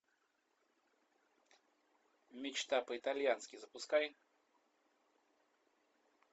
мечта по итальянски запускай